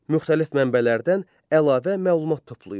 Müxtəlif mənbələrdən əlavə məlumat toplayın.